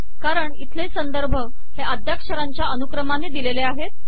कारण इथले संदर्भ हे अद्याक्षरांच्या अनुक्रमाने दिलेले आहेत